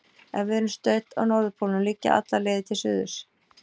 Ef við erum stödd á norðurpólnum liggja allar leiðir til suðurs.